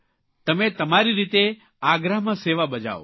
તમે તમારી રીતે આગ્રામાં સેવા બજાવો